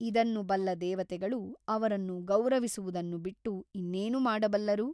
ಇದನ್ನು ಬಲ್ಲ ದೇವತೆಗಳು ಅವರನ್ನು ಗೌರವಿಸುವುದನ್ನು ಬಿಟ್ಟು ಇನ್ನೇನು ಮಾಡಬಲ್ಲರು?